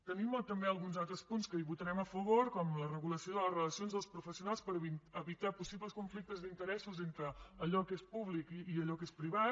tenim també alguns altres punts que votarem a favor com la regulació de les relacions dels professionals per evitar possibles conflictes d’interessos entre allò que és públic i allò que és privat